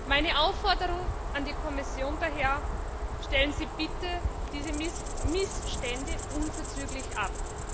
Meine Aufforderung an die Kommission daher Stellen Sie bitte diese Missstände unverzüglich ab!